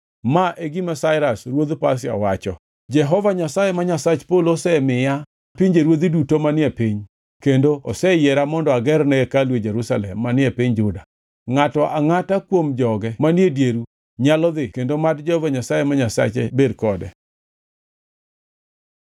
Ma e gima Sairas ruodh Pasia wacho: “ ‘Jehova Nyasaye, ma Nyasach polo osemiya pinjeruodhi duto manie piny kendo oseyiera mondo agerne hekalu e Jerusalem manie piny Juda. Ngʼato angʼata kuom joge manie dieru, nyalo dhi kendo mad Jehova Nyasaye ma Nyasache bed kode.’ ”